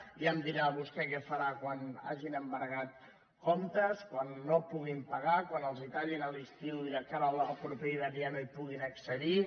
ja em dirà vostè què farà quan hagin embargat comptes quan no puguin pagar quan els ho tallin a l’estiu i de cara al proper hivern ja no hi puguin accedir